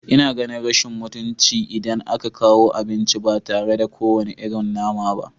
Ina ganin rashin mutunci, idan aka kawo abinci ba tare da kowane irin nama ba